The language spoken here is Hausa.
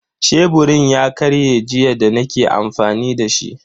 Sheburin ya karye jiya da nake amfani dashi.